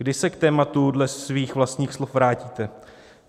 Kdy se k tématu dle svých vlastních slov vrátíte?